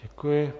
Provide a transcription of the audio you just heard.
Děkuji.